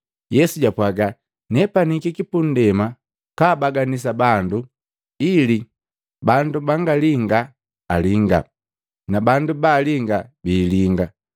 Yesu japwaga, “Nepani hikiki pundema kaabaganisa bandu, ili bandu bangalinga alinga, na bandu balinga biilinga.”